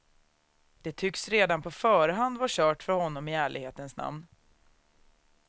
Det tycks redan på förhand vara kört för honom i ärlighetens namn.